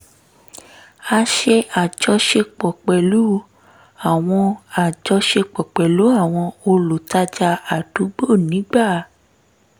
a ṣe ajọṣepọ̀ pẹ̀lú àwọn ajọṣepọ̀ pẹ̀lú àwọn olùtajà àdúgbò nígbà